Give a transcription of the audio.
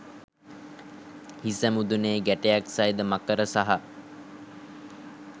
හිස මුදුනේ ගැටයක් සහිත මකර සහ